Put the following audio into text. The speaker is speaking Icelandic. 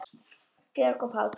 Georg Páll.